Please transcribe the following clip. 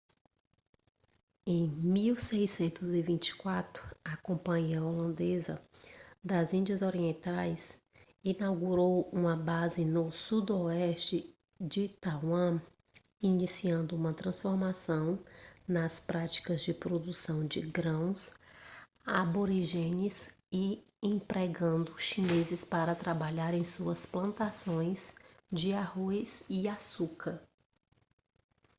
em 1624 a companhia holandesa das índias orientais inaugurou uma base no sudoeste de taiwan iniciando uma transformação nas práticas de produção de grãos aborígenes e empregando chineses para trabalhar em suas plantações de arroz e açúcar